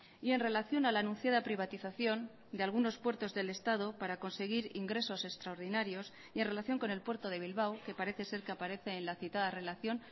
y en relación a la anunciada privatización de algunos puertos del estado para conseguir ingresos extraordinarios y en relación con el puerto de bilbao que parece ser que aparece en la citada relación